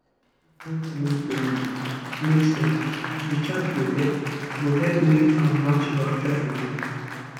to dey use natural family planning make sense the chart go help go help make am match your actual belief.